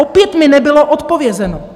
Opět mi nebylo odpovězeno.